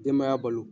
Denbaya balo